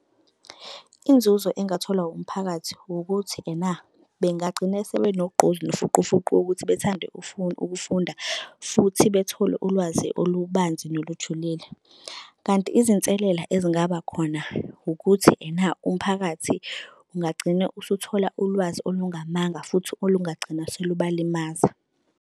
Inzuzo engatholwa umphakathi wukuthi ena bengagcina sebenogqozi nofuqufuqu wokuthi bethande ukufunda futhi bethole ulwazi olubanzi nolujulile. Kanti izinselela ezingaba khona ukuthi ena umphakathi ungagcina usuthola ulwazi olungamanga futhi olungagcina selubalimaza.